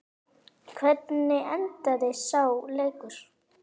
Hvernig endaði sá leikur?